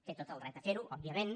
té tot el dret a ferho òbviament